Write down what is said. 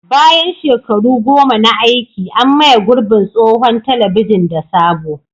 Bayan shekaru goma na aiki, an maye gurbin tsohon telebijin da sabo.